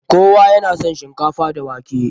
Kowa ya na son shinkafa da wake.